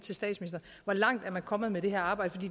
hvor langt er man kommet med det her arbejde